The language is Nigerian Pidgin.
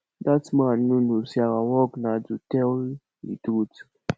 dat man no know say our work na to tell the truth